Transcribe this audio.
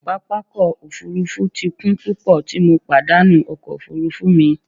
Papa ọkọ ofurufu ti kun pupọ ti MO padanu ọkọ ofurufu mi.